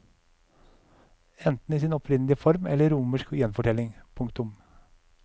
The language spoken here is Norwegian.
Enten i sin opprinnelige form eller i romersk gjenfortelling. punktum